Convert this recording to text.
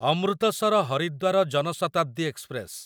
Amritsar Haridwar Jan Shatabdi express